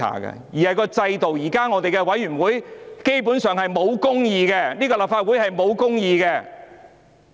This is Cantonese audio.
現在的委員會基本上不公義，立法會也是不公義。